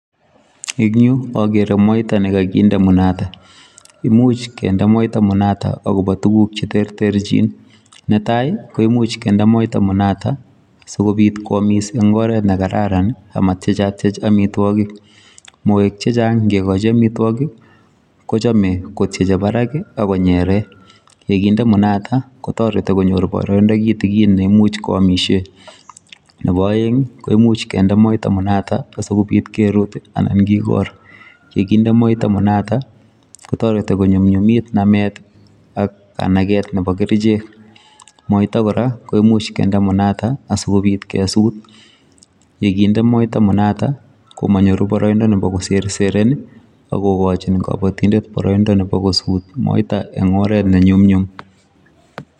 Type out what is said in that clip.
Eng' yuu, agere moita ne kakinde munata. Imuch kende moita munata agobo tuguk che terterchin. Ne tai, koimuch kende moita munata asikobit kwamis eng' oret ne kararan, amatiechatiech amitwogik. Moek chechang' ngekochi amitwogik, kochame kotieche barak, agonyere. Yekinde munata, kotoreti konyor boroindo kitikin, ne imuch ko amisie. Nebo aeng', ko imuch kende moita munata, asikobit kerut, anan kikor. Yeginde moita munata, kotoreti konyumnyumit namet ak kanaget nebo kerichek. Moita kora, koimuch kende munata, asikobit kesut. Yekinde moita munata, ko manyoru boroindo nebo koserseren. Akogochin kabatindet boroindo nebo kosut moita eng' oret ne nyumnyum.